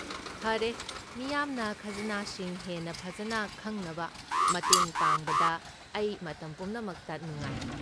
ꯐꯔꯦ, ꯃꯤꯌꯥꯝꯅ ꯈꯖꯅꯥꯁꯤꯡ ꯍꯦꯟꯅ ꯐꯖꯅ ꯈꯪꯅꯕ ꯃꯇꯦꯡ ꯄꯥꯡꯕꯗ ꯑꯩ ꯃꯇꯝ ꯄꯨꯝꯅꯃꯛꯇ ꯅꯨꯡꯉꯥꯏ꯫